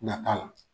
Nata la